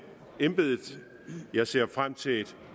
embedet jeg ser frem til et